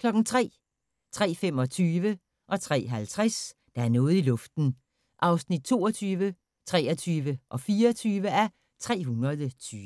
03:00: Der er noget i luften (22:320) 03:25: Der er noget i luften (23:320) 03:50: Der er noget i luften (24:320)